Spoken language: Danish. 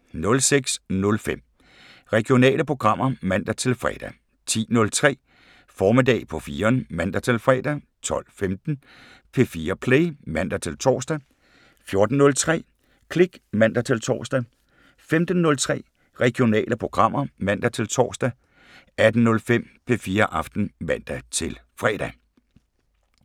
06:05: Regionale programmer (man-fre) 10:03: Formiddag på 4'eren (man-fre) 12:15: P4 Play (man-tor) 14:03: Klik (man-tor) 15:03: Regionale programmer (man-tor) 18:05: P4 Aften (man-fre)